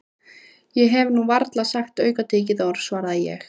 Ég hef nú varla sagt aukatekið orð svaraði ég.